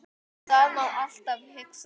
Það má alltaf hugsa svona.